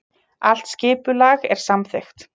Allt skipulag er samþykkt